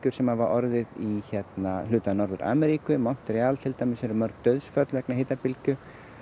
sem hafa orðið í hluta Norður Ameríku í Montreal hafa til dæmis orðið mörg dauðsföll vegna hitabylgju